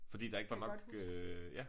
Det kan jeg godt huske